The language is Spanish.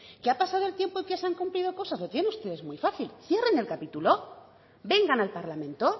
que ha pasado el tiempo y que se han cumplido cosas lo tienen ustedes muy fácil cierren el capítulo vengan al parlamento